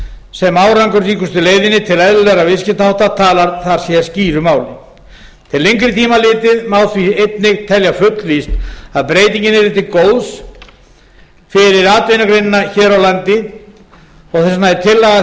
sem árangursríkustu leiðinni til eðlilegra viðskiptahátta talar skýru máli til lengri tíma litið má því einnig telja fullvíst að breytingin yrði til góðs fyrir atvinnugreinina hér á landi þess vegna er tillaga